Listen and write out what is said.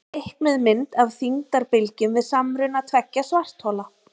teiknuð mynd af þyngdarbylgjum við samruna tveggja svarthola